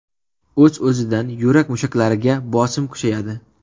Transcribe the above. O‘z-o‘zidan, yurak mushaklariga bosim kuchayadi.